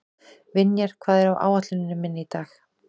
Vinjar, hvað er á áætluninni minni í dag?